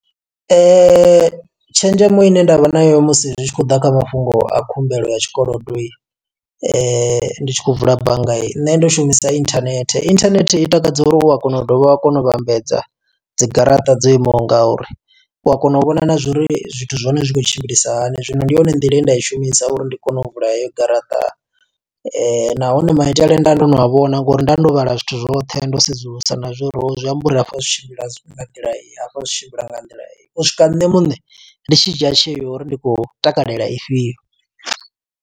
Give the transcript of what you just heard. Tshenzhemo ine nda vha nayo musi zwi tshi khou ḓa kha mafhungo a khumbelo ya tshikolodo, ndi tshi khou vula bannga iyi. Nṋe ndo shumisa internet, inthanethe i takadzela uri u a kona u dovha wa kona u vhambedza dzi garaṱa dzo imaho nga uri. U a kona u vhona na zwa uri zwithu zwa hone zwi kho tshimbilisahani. Zwino ndi yone nḓila ye nda i shumisa uri ndi kone u vula heyo garaṱa. Nahone maitele nda ndo no vhona ngo uri nda ndo vhala zwithu zwoṱhe, ndo sedzulusa na zwo uri zwi amba uri hafha zwi tshimbila nga nḓila iyi, hafha zwi tshimbila nga nḓila iyi. U swika nṋe muṋe, ndi tshi dzhia tsheo uri ndi khou takalela ifhio.